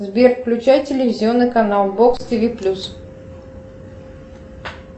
сбер включай телевизионный канал бокс тв плюс